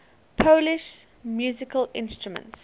polish musical instruments